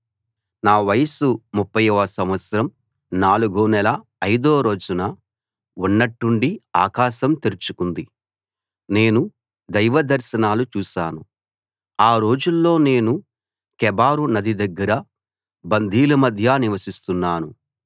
నా వయస్సు ముప్ఫయ్యవ సంవత్సరం నాలుగో నెల ఐదో రోజున ఉన్నట్టుండి ఆకాశం తెరుచుకుంది నేను దైవ దర్శనాలు చూశాను ఆ రోజుల్లో నేను కెబారు నది దగ్గర బందీల మధ్య నివసిస్తున్నాను